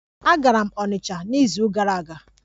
Agara m onitcha n'izu gara aga.